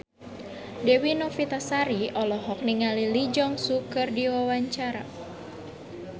Dewi Novitasari olohok ningali Lee Jeong Suk keur diwawancara